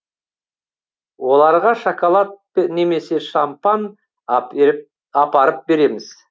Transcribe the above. оларға шоколад немесе шампан апарып береміз